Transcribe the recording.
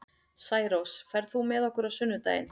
Særós, ferð þú með okkur á sunnudaginn?